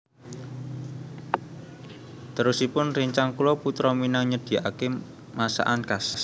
Terosipun rencang kulo Putra Minang nyediaken masakan khas